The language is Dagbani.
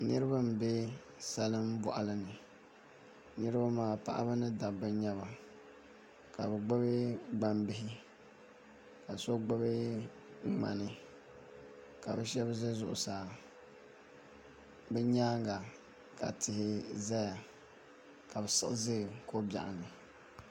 Niraba n bɛ salin boɣali ni niraba maa paɣaba ni dabba n nyɛba ka bi gbubi gbambihi ka so gbubi ŋmani ka bi shab ʒɛ zuɣusaa bi nyaanga ka tia ʒɛya ka bi siɣi ʒɛ ko biɛɣu ni